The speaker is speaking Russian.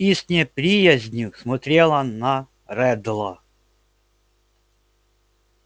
и с неприязнью смотрела на реддла